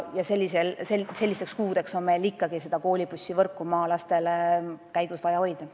Ja sellisteks kuudeks on meil ikkagi vaja maalastele see koolibussivõrk käigus hoida.